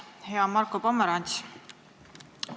Hea Marko Pomerants!